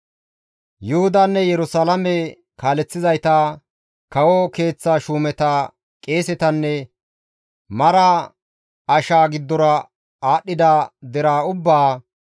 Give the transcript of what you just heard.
Yuhudanne Yerusalaame kaaleththizayta, kawo keeththa shuumeta, qeesetanne mara ashaa giddora aadhdhida deraa ubbaa,